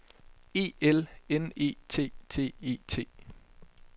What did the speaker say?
E L N E T T E T